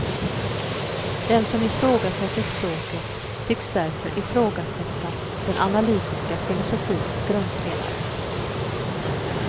Den som ifrågasätter språket tycks därför ifrågasätta den analytiska filosofins grundpelare.